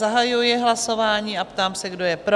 Zahajuji hlasování a ptám se, kdo je pro?